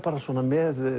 með